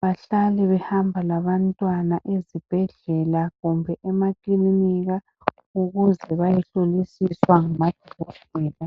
bahlale behamba labantwana ezibhedlela kumbe ema kilinika ukuze bayehlolisiswa ngama dokotela